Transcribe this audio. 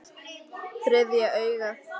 Þriðja augað.